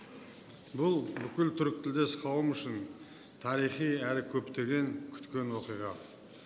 бұл бүкіл түркітілдес қауымдастық үшін тарихи әрі көптен күткен оқиға